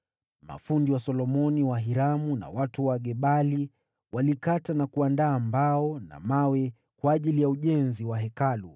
Mafundi wa Solomoni, wa Hiramu na watu wa Gebali walikata na kuandaa mbao na mawe kwa ajili ya ujenzi wa Hekalu.